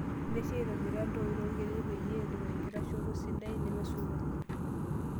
Ntasheyie aitobira iltooi torkedet peyie etum enkitashoto sidai nemesulunye.